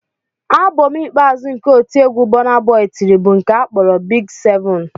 Abọm ikpeazụ nke otiegwu Burnaboy tiri bụ nke a kpọrọ "Big 7"